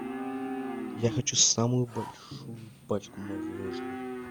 я хочу самую большую пачку мороженого